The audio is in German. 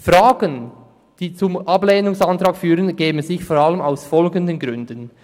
Fragen, die zum Ablehnungsantrag führen, ergeben sich vor allem aus folgenden Gründen.